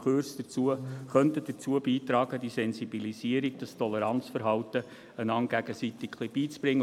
Kurse könnten dazu beitragen, einander die Sensibilisierung und das Toleranzverhalten ein wenig beizubringen.